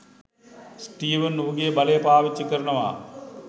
Steven ඔහුගේ බලය පාවිච්චි කරනවා